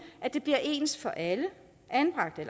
at det bliver ens for alle anbragte